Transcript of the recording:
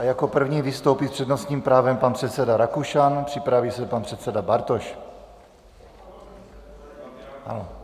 A jako první vystoupí s přednostním právem pan předseda Rakušan, připraví se pan předseda Bartoš.